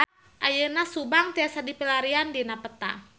Ayeuna Subang tiasa dipilarian dina peta